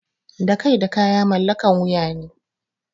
Da kai da kaya mallakan wuya ne.